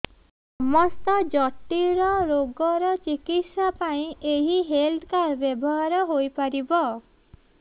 ସମସ୍ତ ଜଟିଳ ରୋଗର ଚିକିତ୍ସା ପାଇଁ ଏହି ହେଲ୍ଥ କାର୍ଡ ବ୍ୟବହାର ହୋଇପାରିବ